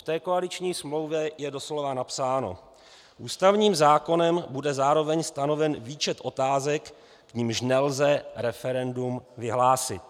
V té koaliční smlouvě je doslova napsáno: Ústavním zákonem bude zároveň stanoven výčet otázek, k nimž nelze referendum vyhlásit.